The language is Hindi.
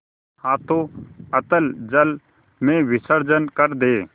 हाथों अतल जल में विसर्जन कर दे